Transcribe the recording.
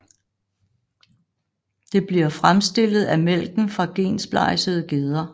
Det bliver fremstillet af mælken fra gensplejsede geder